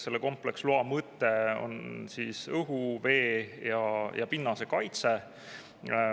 Selle kompleksloa mõte on õhu, vee ja pinnase kaitse.